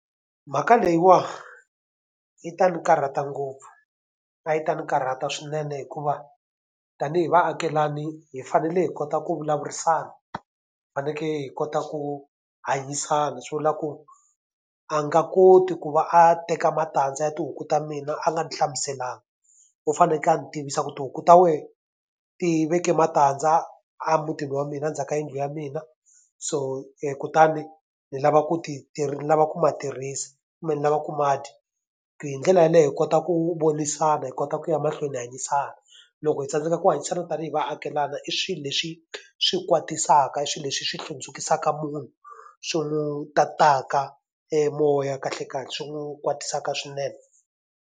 Mhaka leyiwani yi ta ni karhata ngopfu, a yi ta ni karhata swinene hikuva tanihi vaakelana hi fanele hi kota ku vulavurisana, hi fanekele hi kota ku hanyisana. Swi vula ku a nga koti ku va a teka matandza ya tihuku ta mina a nga ndzi hlamuselanga. U fanekele a ndzi tivisa ku tihuku ta wena ti veke matandza a mutini wa mina a ndzhaku ka yindlu ya mina, so kutani ndzi lava ku ni lava ku ma tirhisa kumbe ni lava ku ma dya. Hi ndlela yaleyo hi kota ku vonisana, hi kota ku ya mahlweni hi hanyisana. Loko hi tsandzeka ku hanyisana na tanihi vaakelana i swilo leswi swi kwatisaka, i swilo leswi hi swi hlundzukisaka munhu, swi n'wi tataka e moya kahlekahle, swi n'wi kwatisaka swinene.